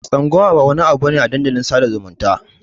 Tsangwama ba wani abu bane a dandalin sadar da zumunta.